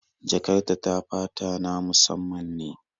Jakar ta ta fata na musamman ne